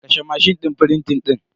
Kashe mashin din frintin din.